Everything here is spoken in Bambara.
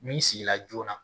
Min sigira joona